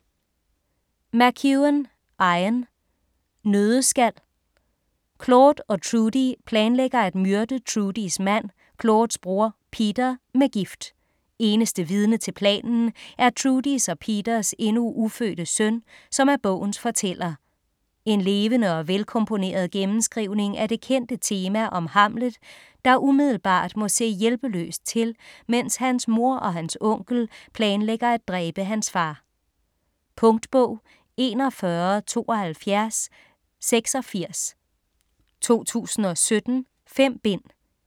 McEwan, Ian: Nøddeskal Claude og Trudy planlægger at myrde Trudys mand, Claudes bror, Peter, med gift. Eneste vidne til planen er Trudys og Peters endnu ufødte søn, som er bogens fortæller. En levende og velkomponeret gennemskrivning af det kendte tema om Hamlet der umiddelbart må se hjælpeløst til mens hans mor og hans onkel planlægger at dræbe hans far. Punktbog 417286 2017. 5 bind.